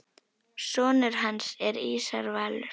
Sonur hans er Ísar Valur.